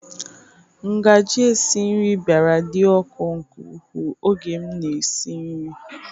Ngaji esi nri bịara dị ọkụ nke ukwuu oge m na-esi nri.